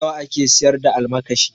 Nawa ake siyar da almakashi?